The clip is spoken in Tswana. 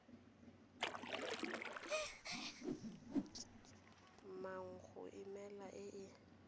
nngwe go emela e e